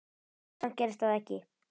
Samt gerðist það ekki.